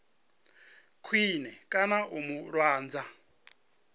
khwine kana u mu lwadza